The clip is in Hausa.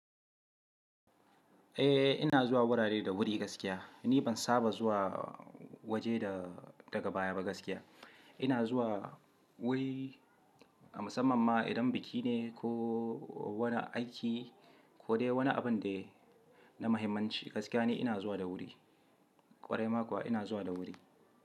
Eh, ina zuwa wurare da wuri gaskiya. Ni ban saba zuwa waje da daga baya ba gaskiya. Ina zuwa wuri a musamman ma idan biki ne ko wani aiki ko dai wani abun dai na mahimmanci gaskiya ni ina zuwa da wuri. Kwarai ma kuwa ina zuwa da wuri.